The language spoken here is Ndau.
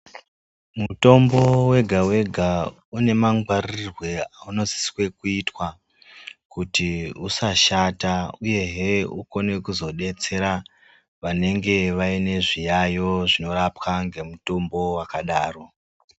Mutombo wega wega une mangwarirwe aunosise kuitwa kuti usashata uyehe kuti uzodetsera vanenge vaine zviyayo zvinorapwa nemutombo wakadaro.